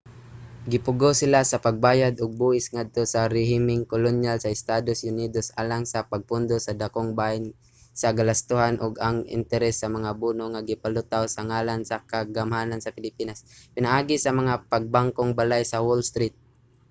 gipugos sila sa pagbayad ug buhis ngadto sa rehimeng kolonyal sa estados unidos alang sa pagpondo sa dakong bahin sa galastuhan ug ang interes sa mga bono nga gipalutaw sa ngalan sa kagamhanan sa pilipinas pinaagi sa mga pangbangkong balay sa wall street